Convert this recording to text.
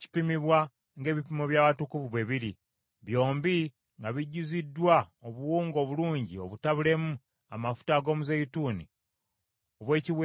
kipimibwa ng’ebipimo by’awatukuvu bwe biri, byombi nga bijjuziddwa obuwunga obulungi obutabulemu amafuta ag’omuzeeyituuni obw’ekiweebwayo eky’emmere y’empeke;